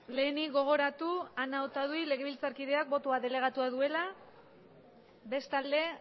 lehenik gogoratu ana otadui legebiltzarkideak botoa delegatua duela bestalde